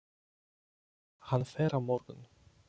Hann fer á morgun.